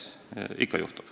Ikka juhtub.